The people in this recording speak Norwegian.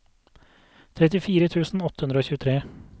trettifire tusen åtte hundre og tjuetre